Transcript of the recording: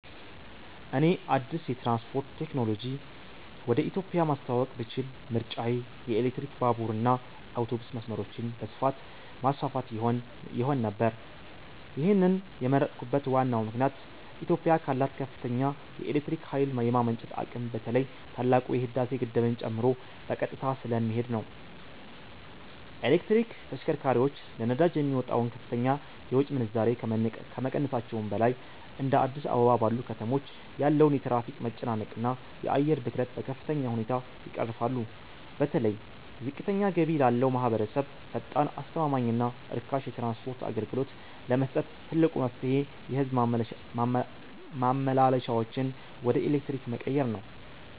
እኔ አዲስ የትራንስፖርት ቴክኖሎጂ ወደ ኢትዮጵያ ማስተዋወቅ ብችል ምርጫዬ የኤሌክትሪክ ባቡርና አውቶቡስ መስመሮችን በስፋት ማስፋፋት ይሆን ነበር። ይህንን የመረጥኩበት ዋናው ምክንያት ኢትዮጵያ ካላት ከፍተኛ የኤሌክትሪክ ኃይል የማመንጨት አቅም በተለይ ታላቁ የህዳሴ ግድብን ጨምሮ በቀጥታ ስለሚሄድ ነው። የኤሌክትሪክ ተሽከርካሪዎች ለነዳጅ የሚወጣውን ከፍተኛ የውጭ ምንዛሬ ከመቀነሳቸውም በላይ፤ እንደ አዲስ አበባ ባሉ ከተሞች ያለውን የትራፊክ መጨናነቅና የአየር ብክለት በከፍተኛ ሁኔታ ይቀርፋሉ። በተለይ ዝቅተኛ ገቢ ላለው ማኅበረሰብ ፈጣን፣ አስተማማኝና ርካሽ የትራንስፖርት አገልግሎት ለመስጠት ትልቁ መፍትሔ የሕዝብ ማመላለሻዎችን ወደ ኤሌክትሪክ መቀየር ነው።